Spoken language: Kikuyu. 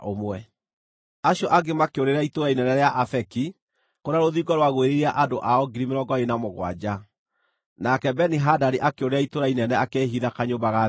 Acio angĩ makĩũrĩra itũũra inene rĩa Afeki, kũrĩa rũthingo rwagwĩrĩire andũ ao 27,000. Nake Beni-Hadadi akĩũrĩra itũũra inene akĩĩhitha kanyũmba ga thĩinĩ.